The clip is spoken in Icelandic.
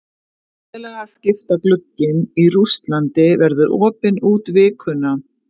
Félagaskiptaglugginn í Rússlandi verður opinn út vikuna.